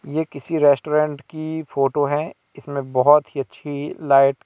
ये किसी रेस्टोरेंट की फोटो है इसमें बहुत ही अच्छी लाइट --